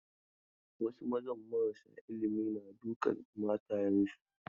Wasu mazan marasa ilimi na dukan matayensu.